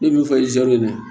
Ne min fɔ zon ye